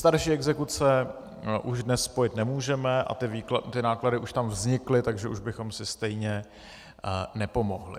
Starší exekuce už dnes spojit nemůžeme a ty náklady už tam vznikly, takže už bychom si stejně nepomohli.